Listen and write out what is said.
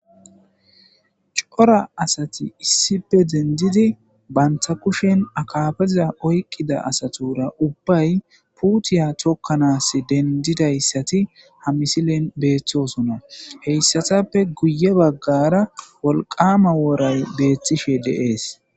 cora asati issipe dendidi banta kushen akafeza oyqqida asatura ubbay puutiya thokkanas dendidayssati ha misilen beeththoosona heyssatappe guye baggara wolqama wooray beethtishe de7ees.